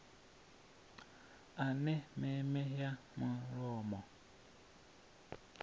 a na meme ya mulomo